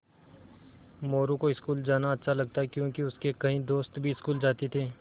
मोरू को स्कूल जाना अच्छा लगता क्योंकि उसके कई दोस्त भी स्कूल जाते थे